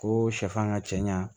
Ko sɛfan ka cɛ ɲa